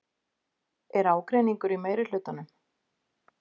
Er ágreiningur í meirihlutanum?